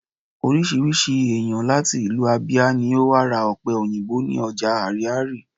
orísirísi eyan lati ìlú ábíá ni o wa ra òpe òyìnbó ni oja ariaria